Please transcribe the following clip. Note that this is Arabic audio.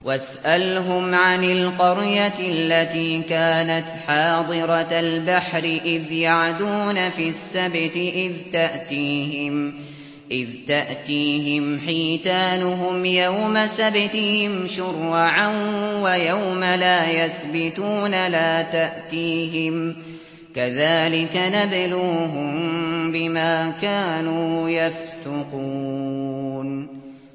وَاسْأَلْهُمْ عَنِ الْقَرْيَةِ الَّتِي كَانَتْ حَاضِرَةَ الْبَحْرِ إِذْ يَعْدُونَ فِي السَّبْتِ إِذْ تَأْتِيهِمْ حِيتَانُهُمْ يَوْمَ سَبْتِهِمْ شُرَّعًا وَيَوْمَ لَا يَسْبِتُونَ ۙ لَا تَأْتِيهِمْ ۚ كَذَٰلِكَ نَبْلُوهُم بِمَا كَانُوا يَفْسُقُونَ